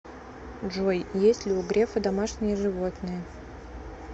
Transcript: джой есть ли у грефа домашние животные